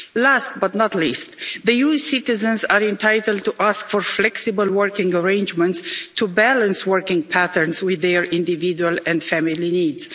Last but not least, EU citizens are entitled to ask for flexible working arrangements to balance working patterns with their individual and family needs.